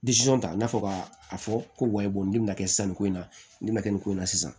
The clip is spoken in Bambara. ta i n'a fɔ ka a fɔ ko nin bɛna kɛ sanni ko in na nin bɛ na kɛ nin ko in na sisan